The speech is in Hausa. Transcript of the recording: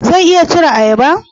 Zan iya cire ayaba?